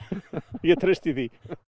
ég treysti því